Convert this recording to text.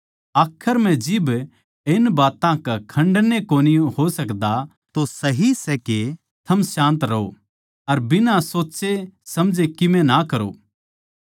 आखर म्ह जिब के इन बात्तां का खण्डन ए कोनी हो सकदा तो सही सै के थम शान्त रहो अर बिना सोच्चेसमझे कीमे ना करो